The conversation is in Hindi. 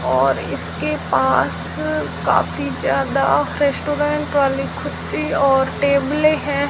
और इसके पास काफी ज्यादा रेस्टोरेंट वाली खुच्ची और टेबलें हैं।